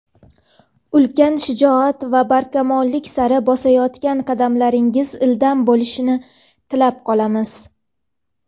ulkan shijoat va barkamollik sari bosayotgan qadamlaringiz ildam bo‘lishini tilab qolamiz!.